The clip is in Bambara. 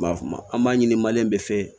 N b'a f'a ma an b'a ɲini bɛɛ fɛ